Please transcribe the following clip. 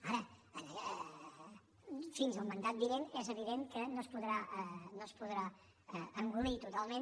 ara fins al mandat vinent és evident que no es podrà engolir totalment